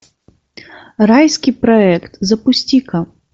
райский проект запусти ка